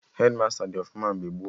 Hedmasta dị ọfụma mgbe gboo